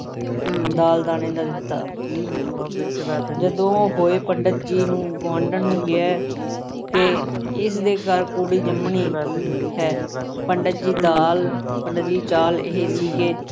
ਦਾਣੇ ਦਾ ਦਿੱਤਾ। ਜਦੋਂ ਉਹ ਗਏ, ਪੰਡਿਤ ਜੀ ਨੇ ਗੁਆਂਢਣ ਨੂੰ ਕਿਹਾ ਕਿ ਇਸ ਦੇ ਘਰ ਕੁੜੀ ਜੰਮਣੀ ਹੈ। ਪੰਡਿਤ ਦੀ ਦਾਲ ਅਹ ਪੰਡਿਤ ਦੀ ਚਾਲ ਇਹ ਸੀ ਕਿ